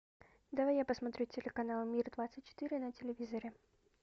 давай я посмотрю телеканал мир двадцать четыре на телевизоре